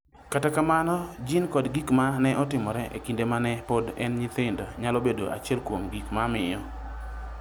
Kata kamano, jin kod gik ma ne otimore e kinde ma ne pod en nyithindo nyalo bedo achiel kuom gik mamiyo.